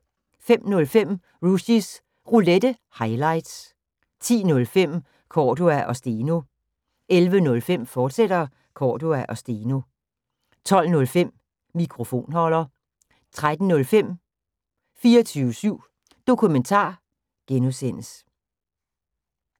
05:05: Rushys Roulette – highlights 10:05: Cordua & Steno 11:05: Cordua & Steno, fortsat 12:05: Mikrofonholder 13:05: 24syv Dokumentar (G)